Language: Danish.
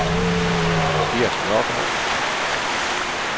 Gert Nørgaard